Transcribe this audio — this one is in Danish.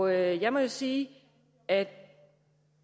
jeg må jo sige at